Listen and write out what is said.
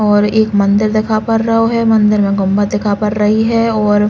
और एक मदिर दिखा पा रओ है। मंदिर में गम्मा दिखा पा रई है और --